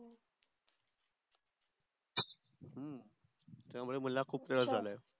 अह त्या मुले मला खूप त्रास झाला आहे